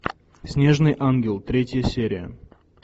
снежный ангел третья серия